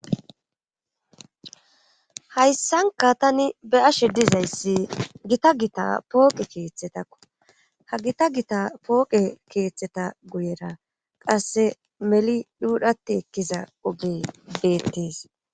Hayssanka tani be'ashe dizayssi gita gita pooqe keeththetakko ha gita gita pooqe keeththeta guyera qasse meli dhuudhati ekkiza ogey beettees.